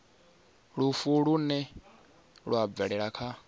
lufu lune lwa bvelela kha